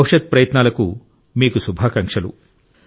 భవిష్యత్ ప్రయత్నాలకు మీకు శుభాకాంక్షలు